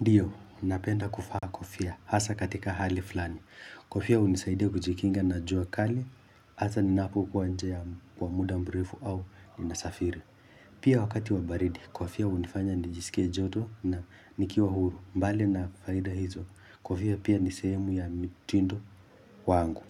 Ndiyo, napenda kuvaa kofia hasa katika hali fulani. Kofia unisaidia kujikinga na jua kali, hasa ninapokuwa nje kwa muda mrefu au ninasafiri. Pia wakati wa baridi, kofia hunifanya nijisikia joto na nikiwa huru. Mbali na faida hizo, kofia pia ni sehemu ya mitindo wangu.